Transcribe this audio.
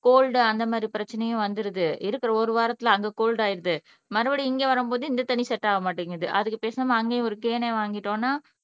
gold அந்த மாதிரி பிரச்சனையும் வந்துருது ஒரு வாரத்தில் அங்க கோல்ட் ஆயிருது மறுபடியும் இங்கே வரும்போது இந்த தண்ணீர் செட்டாக மாட்டேங்குது அதுக்கு பேசாம அங்கேயும் ஒரு கேனே வாங்கிட்டோம்னா